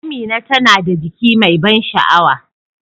Amina tana da jiki mai ban sha'awa.